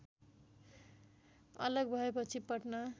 अलग भएपछि पटना